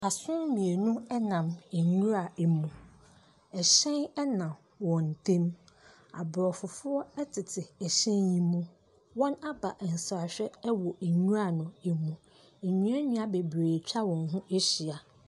Asono mienu Ɛnam ɛnwura ɛmu, ɛhyɛn ɛnam wɔn ntɛm. Aborɔfo foɔ ɛtete ɛhyɛn yi mu, wɔn aba nsrahwɛ wɔ ɛnwura no ɛmu. Ɛnua nua bebree atwa wɔn ho ahyia.